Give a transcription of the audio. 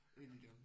Ikke igen